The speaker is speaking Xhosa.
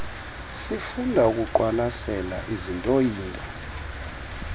sifunda ukuqwalasela izintooyinto